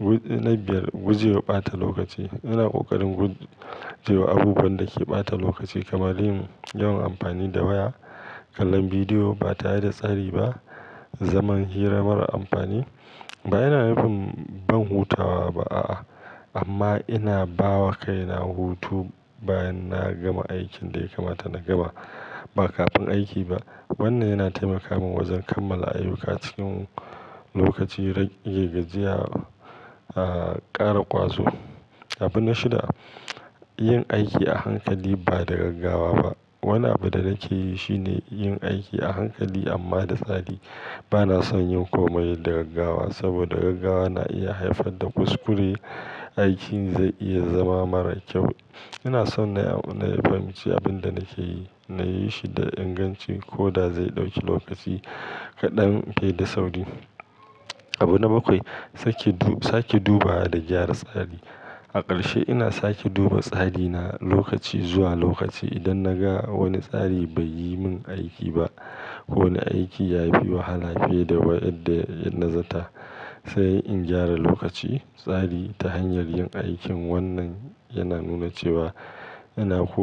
Na biyar, gujewa ɓata lokaci. Ina ƙoƙarin gujewa abubuwan da ke ɓata lokaci kamar yin yawan amfani da waya, kallon bidiyo ba ta yi da tsari ba, zaman hira mara amfani. Ba yana nufin ban hutawa ba a'a amma ina ba wa kaina hutu bayan na gama aikin da ya kamata na gaba ba kafin aiki ba. Wannan yana taimaka min wajen kammala ayyuka cikin lokaci, rage gajiya, ƙara ƙwazo. Abu na shida, yin aiki a hankali ba da gaggawa ba. Wane abu da nake yi shine yin aiki a hankali amma da tsari. Ba na son yin komai da gaggawa saboda gaggawa na iya haifar da kuskure, aikin zai iya zama mara kyau. Ina son na fahimci abin da nake yi, na yi shi da inganci ko da zai ɗauki lokaci kaɗan fiye da sauri. Abu na bakwai, sake duba da gyara tsari. A ƙarshe ina sake duba tsari na lokaci zuwa lokaci. Idan na ga wani tsari bai yi min aiki ba ko wani aiki ya fi wahala fiye da waƴanda na zanta, sai in gyara lokaci, tsari ta hanyar yin aikin wannan yana nuna cewa ina koya.